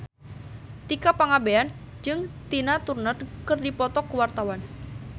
Tika Pangabean jeung Tina Turner keur dipoto ku wartawan